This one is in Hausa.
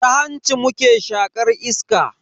Ta hanci muke shaƙar iska.